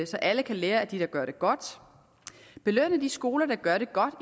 så alle kan lære af dem der gør det godt belønne de skoler der gør det godt